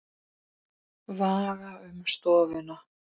Vaga um stofuna.